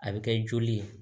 A bɛ kɛ joli ye